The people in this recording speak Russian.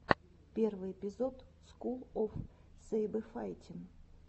первый эпизод скул оф сэйбэфайтин